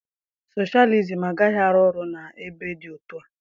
Soshalizim agaghị arụ ọrụ n'ebe dị otú a